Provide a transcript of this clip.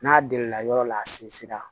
N'a delila yɔrɔ la a sinsinna